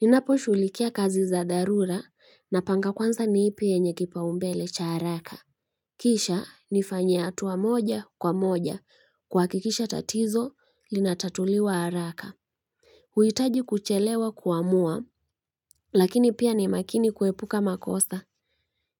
Ninapo shughulikia kazi za darura na panga kwanza ni ipi enye kipao mbele cha haraka Kisha nifanye atuwa moja kwa moja kwa hakikisha tatizo linatatuliwa haraka huitaji kuchelewa kuamua lakini pia ni makini kuepuka makosa